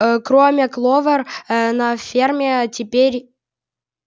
э кроме кловер э на ферме теперь